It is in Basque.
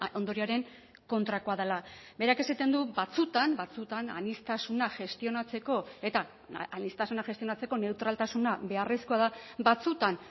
ondorioaren kontrakoa dela berak esaten du batzuetan batzuetan aniztasuna gestionatzeko eta aniztasuna gestionatzeko neutraltasuna beharrezkoa da batzuetan